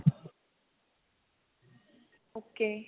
okay